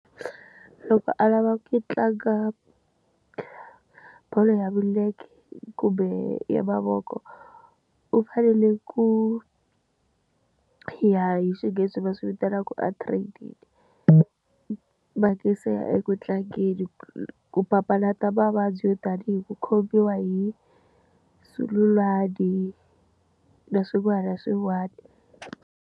Loko a lava ku tlanga bolo ya milenge kumbe ya mavoko u fanele ku ya hi xinghezi va swivitanaka a trade mhaka se ya eku tlangeni ku papalata mavabyi yo tanihi ku khomiwa hi zululwana na swin'wana na swin'wana.